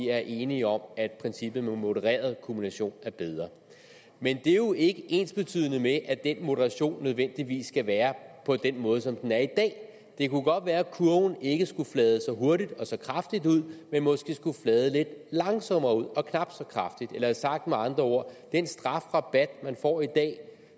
er enige om at princippet om modereret kumulation er bedre men det er jo ikke ensbetydende med at den moderation nødvendigvis skal være på den måde som den er i dag det kunne godt være at kurven ikke skulle flade så hurtigt og så kraftigt ud men måske skulle flade lidt langsommere ud og knap så kraftigt sagt med andre ord den strafrabat man får i dag